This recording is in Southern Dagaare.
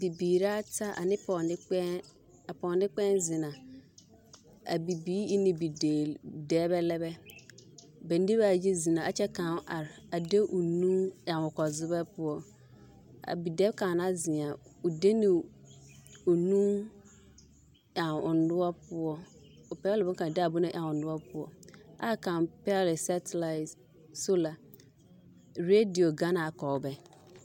Bibiiri ata ane pɔɔ-nekpɛɛ, a pɔɔ-nekpɛɛ zina, a bibiiri ene bideeli, dɛbɛ lɛ bɛ, ba nebɛ ayi zena a kyɛ kaŋ are a de o nuu ɛŋ o kɔre zebɛ poɔ a bidɛb kaŋ na zia o de ne o nuu ɛŋ o noɔre poɔ o bɛle de a bon ɛŋ o noɔre poɔ aa kaŋ pɛgele sɛtilati sola, redio gana kɔɔ bɛ.